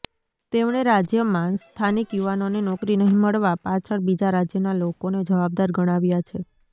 તેમણે રાજ્યમાં સ્થાનિક યુવાનોને નોકરી નહીં મળવા પાછળ બીજા રાજ્યના લોકોને જવાબદાર ગણાવ્યા છે